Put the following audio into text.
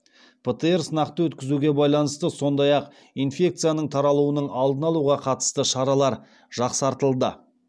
птр сынақты өткізуге байланысты сондай ақ инфекцияның таралуының алдын алуға қатысты шаралар жақсартылды